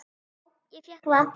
Já, ég fékk það.